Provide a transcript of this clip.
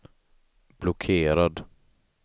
blockerad